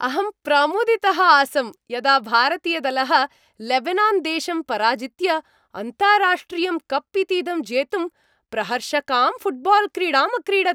अहं प्रमुदितः आसं यदा भारतीयदलः लेबनान्देशं पराजित्य अन्ताराष्ट्रियं कप् इतीदं जेतुं प्रहर्षकां फुट्बाल्क्रीडाम् अक्रीडत्।